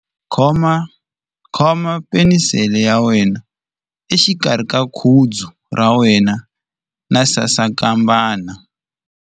Khoma penisele ya wena exikarhi ka khudzu ra wena na sasankambana.